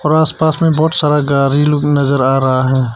आसपास में बहुत सारा गाड़ी लोग नजर आ रहा है।